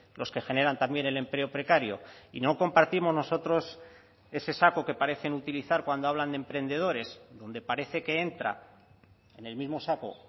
los que generan también el empleo precario y no compartimos nosotros ese saco que parecen utilizar cuando hablan de emprendedores donde parece que entra en el mismo saco